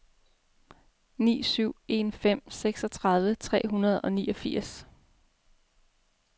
ni syv en fem seksogtredive tre hundrede og niogfirs